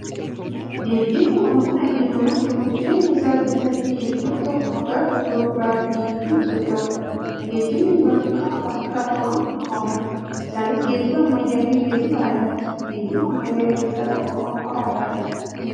Geejibni wanta dhalli namaa jiruuf jireenya isaa keessatti iddoo tokkoo garaa iddoo biraatti ittiin socho'uudha. Geejibni bakka bakka lamatti qoodama. Isaanis, geejiba ammayyaafi geejiba aadaati. Geejiba ammayyaa keessaa tokko konkolaatadha.